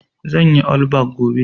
zanyi allback gobe